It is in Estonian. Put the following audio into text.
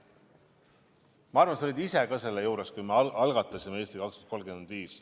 Ma arvan, et sa olid ise ka juures, kui me algatasime "Eesti 2035".